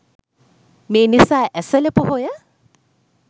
මේ නිසා ඇසළ පොහොය